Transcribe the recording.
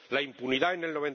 la impunidad en el